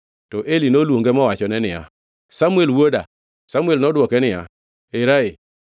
to Eli noluonge mowachone niya, “Samuel wuoda.” Samuel nodwoke niya, “Era ee.”